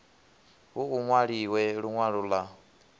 hu u nwaliwe linwalo la